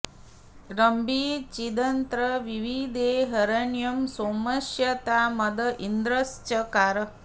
र॒म्भी चि॒दत्र॑ विविदे॒ हिर॑ण्यं॒ सोम॑स्य॒ ता मद॒ इन्द्र॑श्चकार